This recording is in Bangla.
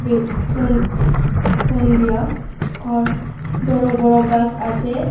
এর থন থনদিয়া ওর বড় বড় গাছ আছে।